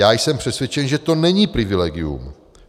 Já jsem přesvědčen, že to není privilegium.